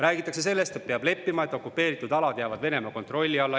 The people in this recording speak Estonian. Räägitakse sellest, et peab leppima, et okupeeritud alad jäävad Venemaa kontrolli alla.